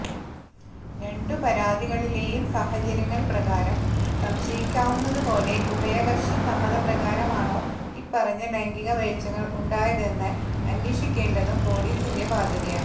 രണ്ടു പരാതികളിലെയും സാഹചര്യങ്ങള് പ്രകാരം സംശയിക്കാവുന്നതുപോലെ ഉഭയകക്ഷി സമ്മത പ്രകാരമാണോ ഇപ്പറഞ്ഞ ലൈംഗിക വേഴ്ചകള് ഉണ്ടായതെന്ന് അന്വേഷിക്കേണ്ടതും പോലീസിന്റെ ബാധ്യതയാണ്